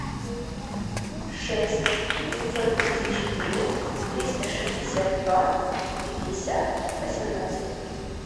шесть пятьсот тридцать четыре триста шестьдесят два пятьдесят восемнадцать